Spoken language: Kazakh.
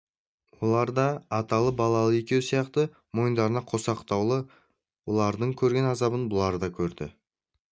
олар да аталы-балалы екеуі сияқты мойындарынан қосақтаулы олардың көрген азабын бұлар да көрді